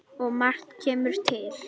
Og margt kemur til.